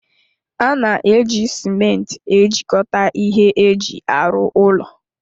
A na-eji cimenti ejikọta ihe eji arụ ụlọ